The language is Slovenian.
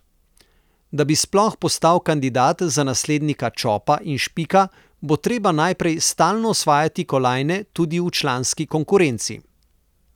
Da bi sploh postal kandidat za naslednika Čopa in Špika, bo treba najprej stalno osvajati kolajne tudi v članski konkurenci.